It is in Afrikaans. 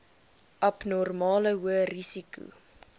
abnormale hoë risiko